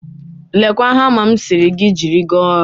Lekwa hama m sịrị gị jiri gaa ọrụ